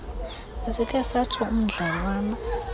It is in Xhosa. besikhe satsho umdlalwana